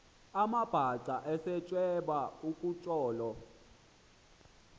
amabhaca esematyeba kutsolo